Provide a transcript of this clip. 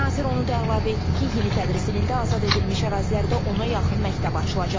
Nazir onu da əlavə etdi ki, yeni tədris ilində azad edilmiş ərazilərdə ona yaxın məktəb açılacaq.